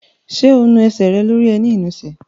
Ṣé o nu ẹsẹ̀ rẹ lórí ẹní ìnusẹ̀?